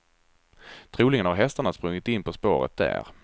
Troligen har hästarna sprungit in på spåret där.